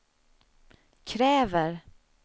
kräver